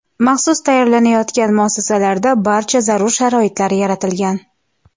Maxsus tayyorlangan muassasalarda barcha zarur sharoitlar yaratilgan.